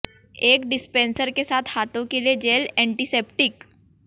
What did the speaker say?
एक डिस्पेंसर के साथ हाथों के लिए जेल एंटीसेप्टिक